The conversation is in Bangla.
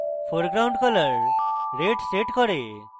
foreground color red সেট করে